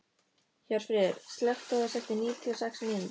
Hjörfríður, slökktu á þessu eftir níutíu og sex mínútur.